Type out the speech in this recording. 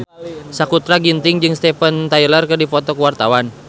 Sakutra Ginting jeung Steven Tyler keur dipoto ku wartawan